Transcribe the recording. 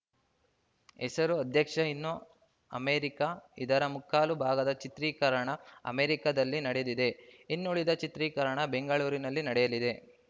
ಹೆಸರು ಅಧ್ಯಕ್ಷ ಇನ್ನು ಅಮೇರಿಕ ಇದರ ಮುಕ್ಕಾಲು ಭಾಗದ ಚಿತ್ರೀಕರಣ ಅಮೇರಿಕದಲ್ಲೇ ನಡೆದಿದೆ ಇನ್ನುಳಿದ ಚಿತ್ರೀಕರಣ ಬೆಂಗಳೂರಿನಲ್ಲಿ ನಡೆಯಲಿದೆ